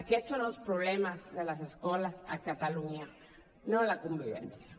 aquests són els problemes de les escoles a catalunya no la convivència